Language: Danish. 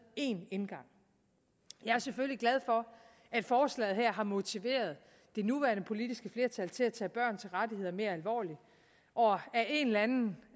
én indgang jeg er selvfølgelig glad for at forslaget her har motiveret det nuværende politiske flertal til at tage børns rettigheder mere alvorligt og ad en eller anden